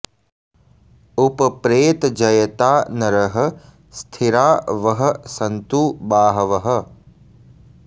उप॒ प्रेत॒ जय॑ता नरः स्थि॒रा वः॑ सन्तु बा॒हवः॑